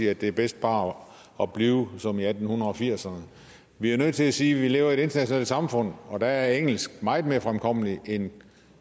at det er bedst bare at blive som i atten firserne vi er nødt til at sige at vi lever i et internationalt samfund og der er engelsk meget mere fremkommeligt end